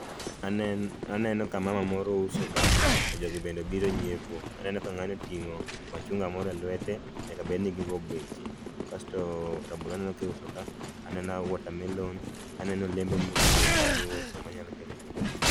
Aneno ka mama moro uso ka to jogi bedne biro nyiepo, aneno ka ng'ani oting'o machunga moro e lwete nyaka bed ni gi go beche kasto rabolo aneno ki uso ka aneno water melon aneno olembe modhuro ka mi uso manyalo kelo dongruok.